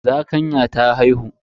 Zakanyan ta haihu.